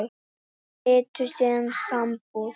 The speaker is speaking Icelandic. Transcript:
Þau slitu síðar sambúð.